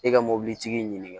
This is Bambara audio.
E ka mobilitigi ɲininka